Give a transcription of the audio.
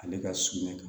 Ale ka suman kan